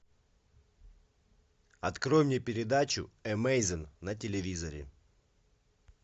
открой мне передачу эмейзин на телевизоре